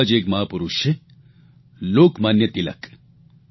એવા જ એક મહાપુરૂષ છે લોકમાન્ય તિલક